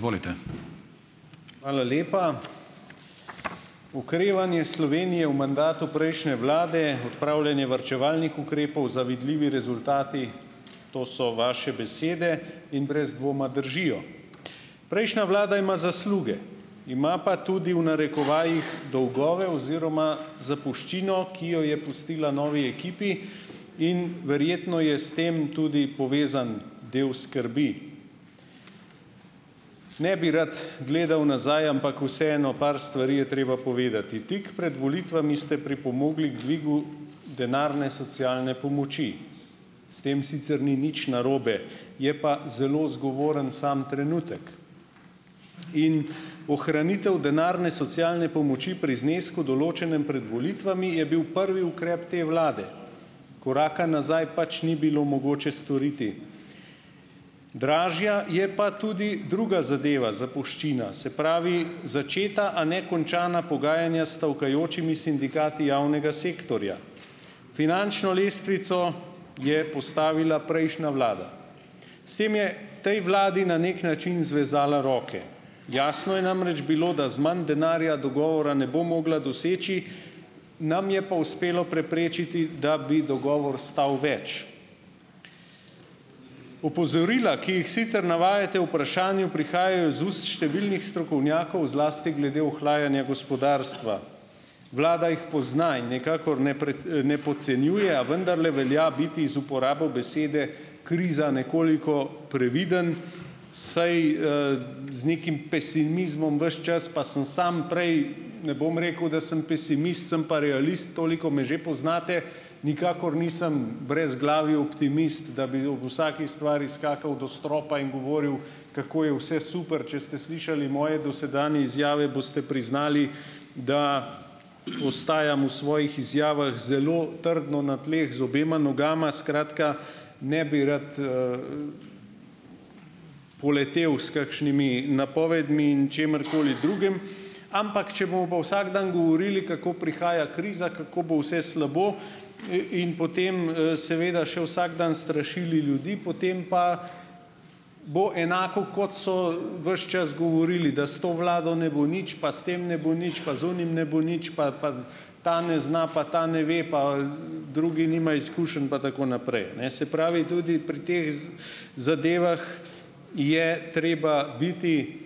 Hvala lepa. Okrevanje Slovenije v mandatu prejšnje vlade, odpravljanje varčevalnih ukrepov, zavidljivi rezultati, to so vaše besede in brez dvoma držijo. Prejšnja vlada ima zasluge, ima pa tudi, v narekovajih "dolgove" oziroma zapuščino, ki jo je pustila novi ekipi in verjetno je s tem tudi povezan del skrbi. Ne bi rad gledal nazaj, ampak vseeno, par stvari je treba povedati, tik pred volitvami ste pripomogli k dvigu denarne socialne pomoči. S tem sicer ni nič narobe, je pa zelo zgovoren sam trenutek in ohranitev denarne socialne pomoči pri znesku, določnem pred volitvami, je bil prvi ukrep te vlade. Koraka nazaj pač ni bilo mogoče storiti. Dražja je pa tudi druga zadeva, zapuščina, se pravi, začeta, a ne končana pogajanja s stavkajočimi sindikati javnega sektorja. Finančno lestvico je postavila prejšnja vlada. S tem je tej vladi na neki način zvezala roke. Jasno je namreč bilo, da z manj denarja dogovora ne bo mogla doseči, nam je pa uspelo preprečiti, da bi dogovor stal več. Opozorila, ki jih sicer navajate o vprašanju, prihajajo iz ust številnih strokovnjakov, zlasti glede ohlajanja gospodarstva. Vlada jih pozna in nikakor ne precej, ne podcenjuje, a vendarle velja biti z uporabo besede kriza nekoliko previden, saj, z nekim pesimizmom ves čas, pa sem samo prej, ne bom rekel, da sem pesimist, sem pa realist, toliko me že poznate, nikakor nisem brezglavi optimist, da bi ob vsaki stvari skakal do stropa in govoril, kako je vse super, če ste slišali moje dosedanje izjave, boste priznali, da ostajam v svojih izjavah zelo trdno na tleh, z obema nogama. Skratka, ne bi rad, poletel s kakšnimi napovedmi in čimerkoli drugim, ampak če bomo pa vsak dan govorili, kako prihaja kriza, kako bo vse slabo, in potem, seveda še vsak dan strašili ljudi, potem pa bo enako, kot so, ves čas govorili, da s to vlado ne bo nič, pa s tem ne bo nič, pa z onim ne bo nič, pa, pa ta ne zna, pa ta ne ve, pa, drugi nima izkušenj, pa tako naprej, ne. Se pravi, tudi pri teh z zadevah je treba biti,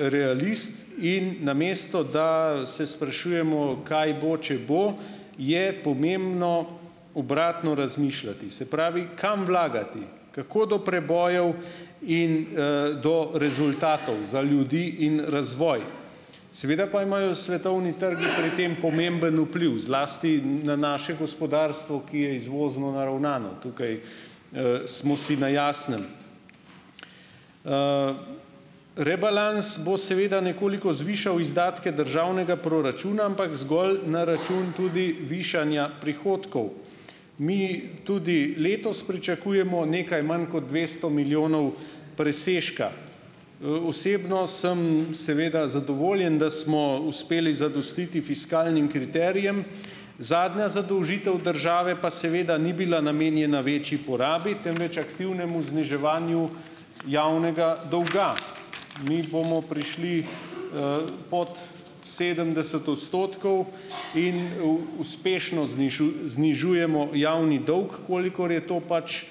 realist, in namesto da, se sprašujemo, kaj bo, če bo, je pomembno obratno razmišljati. Se pravi, kam vlagati? Kako do prebojev in, do rezultatov za ljudi in razvoj? Seveda pa imajo svetovni trgi pri tem pomemben vpliv, zlasti na naše gospodarstvo, ki je izvozno naravnano. Tukaj, smo si na jasnem. Rebalans bo seveda nekoliko zvišal izdatke državnega proračuna, ampak zgolj na račun tudi višanja prihodkov. Mi tudi letos pričakujemo nekaj manj kot dvesto milijonov presežka. Osebno sem seveda zadovoljen, da smo uspeli zadostiti fiskalnim kriterijem, zadnja zadolžitev države pa seveda ni bila namenjena večji porabi, temveč aktivnemu zniževanju javnega dolga. Mi bomo prišli, pod sedemdeset odstotkov in v, uspešno znižujemo javni dolg, kolikor je to pač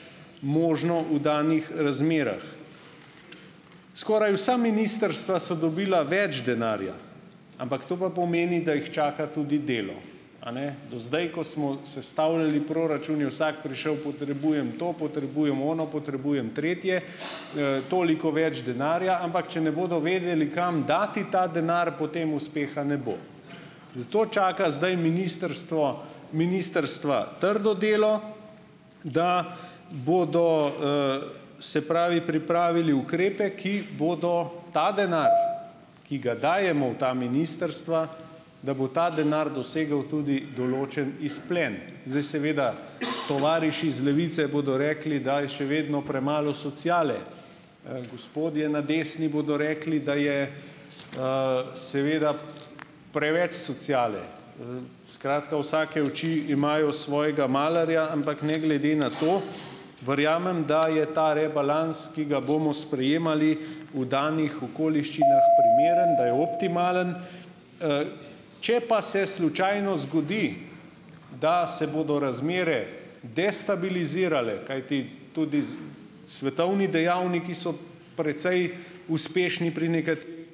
možno v danih razmerah. Skoraj vsa ministrstva so dobila več denarja, ampak to pa pomeni, da jih čaka tudi delo. A ne? Do zdaj, ko smo sestavljali proračun, je vsak prišel: "Potrebujem to, potrebujem ono, potrebujem tretje," toliko več denarja, ampak če ne bodo vedeli, kam dati ta denar, potem uspeha ne bo. Zato čaka zdaj ministrstvo, ministrstva trdo delo, da bodo, se pravi, pripravili ukrepe, ki bodo ta denar, ki ga dajemo v ta ministrstva, da bo ta denar dosegel tudi določen izplen. Zdaj seveda, tovariši iz Levice bodo rekli, da je še vedno premalo sociale. Gospodje na desni bodo rekli, da je, seveda preveč sociale. Skratka, vsake oči imajo svojega "malarja", ampak ne glede na to, verjamem, da je ta rebalans, ki ga bomo sprejemali, v danih okoliščinah primeren, da je optimalen. Če pa se slučajno zgodi, da se bodo razmere destabilizirale, kajti tudi s svetovni dejavniki so precej uspešni pri nekaterih ...